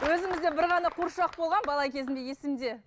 өзімізде бір ғана қуыршақ болған бала кезімде есімде